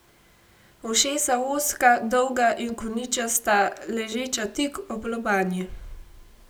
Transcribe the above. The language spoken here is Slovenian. Ušesa ozka, dolga in koničasta, ležeča tik ob lobanji.